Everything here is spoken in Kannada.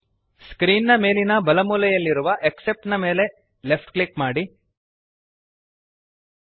ಸ್ಕ್ರೀನ್ ನ ಮೇಲಿನ ಬಲಮೂಲೆಯಲ್ಲಿರುವ ಆಕ್ಸೆಪ್ಟ್ ದ ಮೇಲೆ ಲೆಫ್ಟ್ ಕ್ಲಿಕ್ ಮಾಡಿರಿ